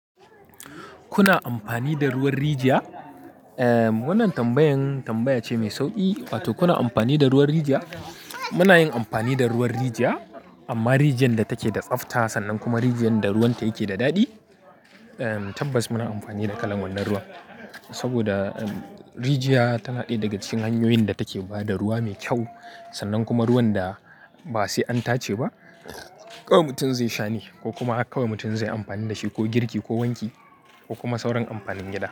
Kuna amfani da ruwan rijiya? Wannan tambayan tambaya ce mai sauƙi, wato kuna amfani da ruwan rijiya? Muna yin amfani da ruwan rijiya amma rijiyar da take da tsafta sannan kuma rijiyar da ruwanta yake da daɗi. Tabbas muna amfani da kalan wannan ruwan saboda rijiya tana ɗaya daga cikin hanyoyin da take ba da ruwa mai kyau, sannan kuma ruwan da ba sai an tace ba kawai mutum zai sha ne ko kuma haka mutum zai yi amfani da shi ko girki ko wanki ko kuma sauran amfanin gida.